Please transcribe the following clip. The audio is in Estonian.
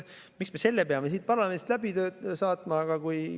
Miks me peame selle siit parlamendist läbi saatma?